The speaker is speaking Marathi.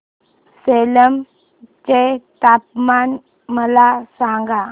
सेलम चे तापमान मला सांगा